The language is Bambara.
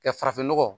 Ka farafinnɔgɔ